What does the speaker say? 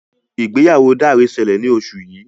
ìgbéyàwó Dare ṣẹlẹ ní oṣù yí.